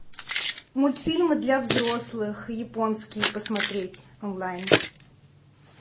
мультфильмы для взрослых японские посмотреть онлайн